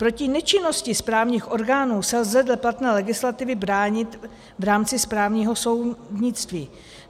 Proti nečinnosti správních orgánů se lze dle platné legislativy bránit v rámci správního soudnictví.